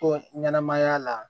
Ko ɲɛnɛmaya la